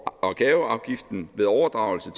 og gaveafgiften ved overdragelse